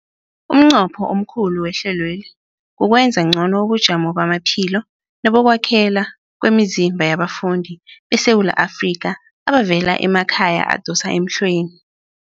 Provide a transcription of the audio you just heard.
Umnqopho omkhulu wehlelweli kukwenza ngcono ubujamo bamaphilo nebokwakhela kwemizimba yabafundi beSewula Afrika abavela emakhaya adosa emhlweni.